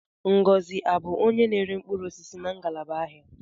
Ngọzi abụ onye na-ere mkpụrụ osisi na ngalaba ahịa?